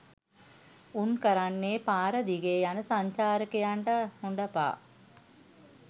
උන් කරන්නේ පාර දිගේ යන සංචාරකයන්ට හොඬ පා